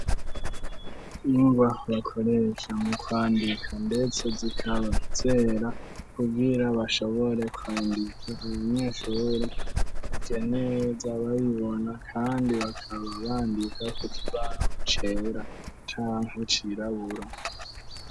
Ingwa bakoreshya mu kwandika, ndetse zikaba zera kubwira bashobore kwandiza abanyeshuri ije nee za babibona, kandi bakaba bandika ku kibano cera canka cirabura.